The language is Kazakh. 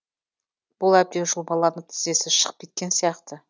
бұл әбден жұлмаланып тізесі шығып кеткен сияқты